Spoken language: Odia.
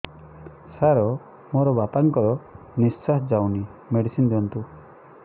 ସାର ମୋର ବାପା ଙ୍କର ନିଃଶ୍ବାସ ଯାଉନି ମେଡିସିନ ଦିଅନ୍ତୁ